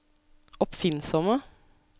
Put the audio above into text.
oppfinnsomme